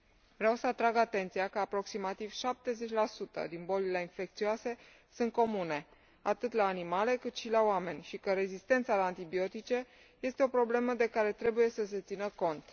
Vreau să atrag atenția că aproximativ 70 din bolile infecțioase sunt comune, atât la animale, cât și la oameni și că rezistența la antibiotice este o problemă de care trebuie să se țină cont.